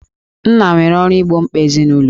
Nna nwere ọrụ igbo mkpa ezinụlọ